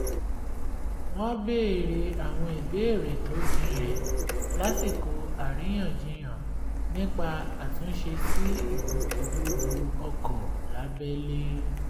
wọn béèrè àwọn ìbéèrè tó jinlẹ̀ lásìkò àríyànjiyàn nípa àtúnṣe sí ìgbòkègbodò ọkọ̀ lábẹ́lé